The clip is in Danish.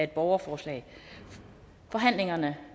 borgerforslag forhandlingen